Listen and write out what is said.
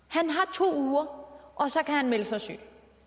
to uger og så kan han melde sig syg